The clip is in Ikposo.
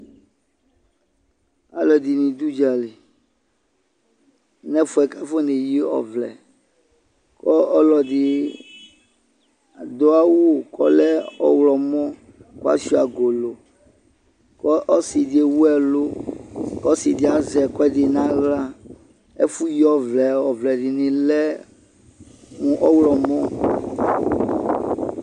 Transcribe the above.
Alʋɛdɩnɩ dʋʋdzali n'ɛfʋɛ kafoneyi ɔvlɛ; kɔ ɔlɔdɩ dʋawʋ k'ɔlɛ ɔɣlɔmɔ kʋasʋɩa golo Kɔ ɔsɩdɩ ewuɛlʋ k'ɔsɩdɩ azɛ' kʋɛdɩ n'aɣla Ɛfʋyiɔvlɛɛ ɔvlɛdɩnɩ lɛ mʋ ɔɣlɔmɔ